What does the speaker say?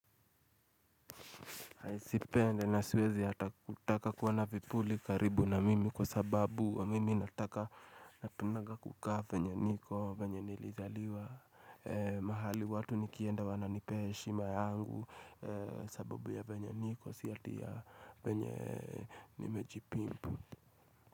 Hai sipendi na siwezi hata kutaka kuona vipuli karibu na mimi kwa sababu wa mimi nataka napendanga kukaa venye niko venye nilizaliwa mahali watu nikienda wananipea heshima yangu sababu ya venye niko si ati ya venye nimejipimpu.